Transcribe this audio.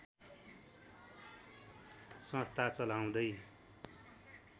संस्था चलाउँदै